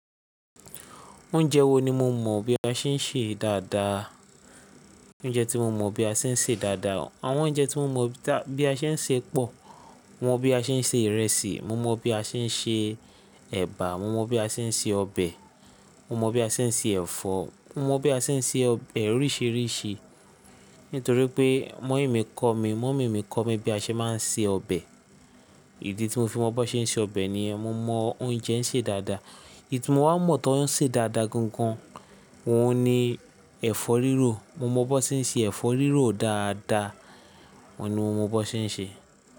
Oúnjẹ wo ni mo mọ̀ bí a ṣe ń ṣèé dáadáa? Oúnjẹ tí mo mọ̀ bí a ṣe ń ṣè dáadáa. Àwọn oúnjẹ tí mo mọ̀ bí a ṣe ń sè pọ̀, mo mọ̀ bí a ṣe ń se ìrẹsì, mo mọ bí a ṣe ń ṣe ẹ̀bà, mo mọ bí a ṣe ń ṣe ọbẹ̀, mo mọ bí a ṣe ń se ẹ̀fọ́, mo mọ bí a ṣe ń ṣe ọbẹ̀ oríṣìíríṣìí. Nítorí pé mọ́ìmi kọ́ mi, mọ́mì mi kọ́ mi bí a ṣe máa ń se ọbẹ̀. Ìdí tí mo fi mọ b'ọ́n ṣe ń se ọbẹ̀ nìyẹn. Mo mọ oúnjẹ ń ṣe dáadáa. Èyí tí mo wá mọ̀ t'ọ́n ń sè dáadáa gangan òun ni ẹ̀fọ́ rírò. Mo mọ b'ọ́n ṣe ń se ẹ̀fọ́ rírò dáadáa, òun ni mo mọ b'ọ́n ṣe ń ṣe.